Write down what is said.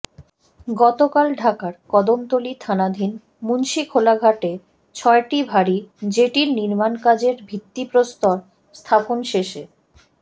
গতকাল ঢাকার কদমতলী থানাধীন মুন্সিখোলাঘাটে ছয়টি ভারী জেটির নির্মাণকাজের ভিত্তিপ্রস্তর স্থাপন শেষে